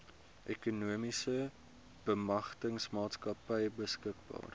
ekonomiese bemagtigingsmaatskappy beskikbaar